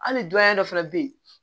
Hali dɔrɔmɛ dɔ fana bɛ ye